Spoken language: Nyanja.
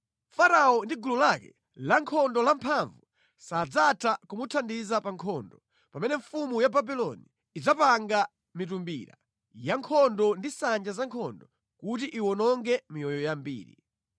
Farao ndi gulu lake lankhondo lamphamvu sadzatha kumuthandiza pa nkhondo, pamene mfumu ya Babuloni idzapanga mitumbira ya nkhondo ndi nsanja za nkhondo kuti iwononge miyoyo yambiri.